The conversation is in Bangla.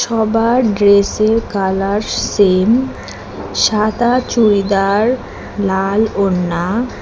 সবার ড্রেস -এর কালার সেম সাদা চুড়িদার লাল ওড়না।